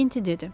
Makti dedi: